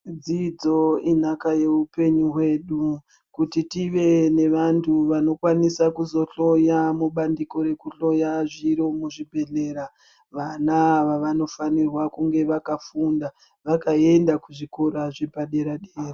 Dzidzo inhaka yeupenyu hwedu, kuti tive nevantu vanokwanisa kuzohloya mubandiko rekuhloya zviro muzvibhedhlera vana ava vanofanirwa kunga vakafunda, vakaenda kuzvikora zvapadera-dera.